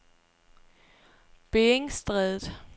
Beringstrædet